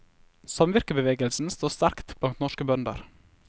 Samvirkebevegelsen står sterkt blant norske bønder.